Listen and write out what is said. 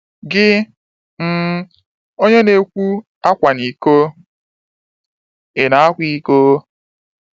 Gị, um onye na-ekwu, “Akwana iko, ” ị na-akwa iko?